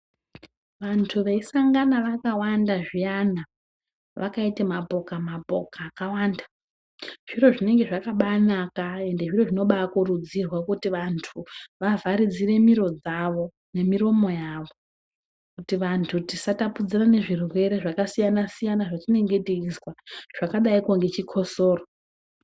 Antu veisangana vakawanda zviyana vakaite mapoka mapoka akawanda zviro zvinenge zvakabanaka ende zviro zvinobakuridzirwa kuti vantu vavharidzire miro dzavo nemiromo yavo kuti vantu tisatapudzirane zvirwere zvakasiyana -siyana zvatinenge teizwa zvakadaiko ngechikhosoro.